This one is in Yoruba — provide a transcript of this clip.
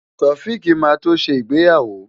Taofiq máa tó ṣe ìgbéyàwó.